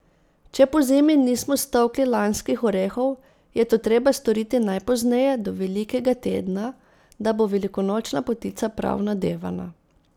Če pozimi nismo stolkli lanskih orehov, je to treba storiti najpozneje do velikega tedna, da bo velikonočna potica prav nadevana.